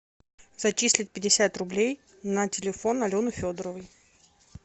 зачислить пятьдесят рублей на телефон алены федоровой